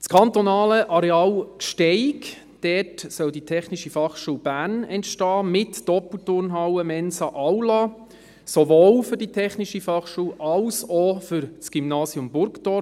Auf dem kantonalen Areal Gsteig soll die TF Bern entstehen mit Doppelturnhalle, Mensa, Aula, sowohl für die TF Bern als auch für das Gymnasium Burgdorf.